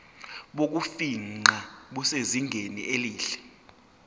bokufingqa busezingeni elihle